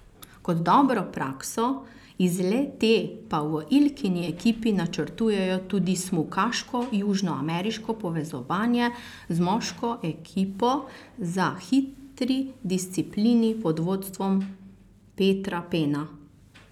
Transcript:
Kot dobro prakso iz le te pa v Ilkini ekipi načrtujejo tudi smukaško južnoameriško povezovanje z moško ekipo za hitri disciplini pod vodstvom Petra Pena.